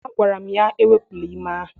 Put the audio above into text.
Agwara m ya ewepụla ime ahụ!